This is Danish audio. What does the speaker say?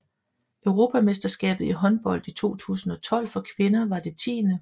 Europamesterskabet i håndbold 2012 for kvinder var det 10